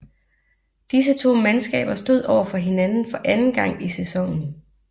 Disse to mandskaber stod overfor hinanden for anden gang i sæsonen